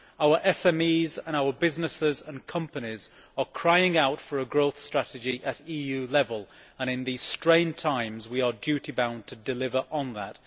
Our SMEs and other businesses and companies are crying out for a growth strategy at EU level, and in these strained times we are duty bound to deliver on that.